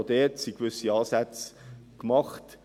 Auch hier sind gewisse Ansätze vorhanden.